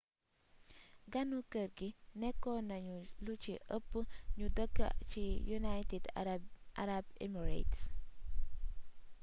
ganu kër gi nékkonañu lu ci ëpp ñu dëkk ci united arab emirates